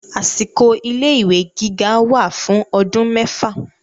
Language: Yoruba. Àsìkò ilé ìwé gíga wà fún ọdún mẹ́fà.